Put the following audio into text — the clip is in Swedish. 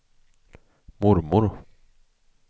mormor